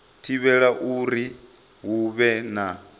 thivhela uri hu vhe na